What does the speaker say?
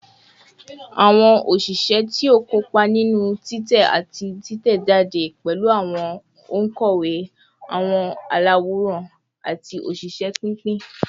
Awọn oṣiṣẹ ti o kopa ninu titẹ ati titẹjade pẹlu awọn onkọwe, awọn alaworan, ati oṣiṣẹ pinpin